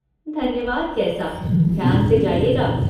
धन्यवाद कैसा! ध्यान से जाइएगा।